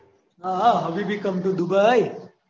આહ હબીબી come to dubai